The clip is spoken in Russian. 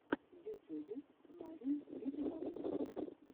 в ютюбе ларин видеообзор